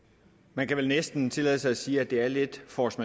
man kan vel næsten tillade sig at sige at det er lidt force